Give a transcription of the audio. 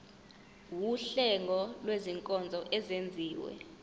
wuhlengo lwezinkonzo ezenziwa